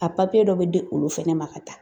A dɔ be de olu fɛnɛ ma ka taa.